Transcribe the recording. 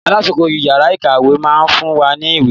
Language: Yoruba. Alákoso yàrá ìkàwé máa fún wa ní ìwé.